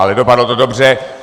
Ale dopadlo to dobře.